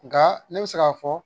Nka ne bɛ se k'a fɔ